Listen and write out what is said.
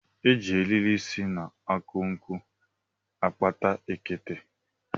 E ji eriri si na akụ nkwụ akpa ekete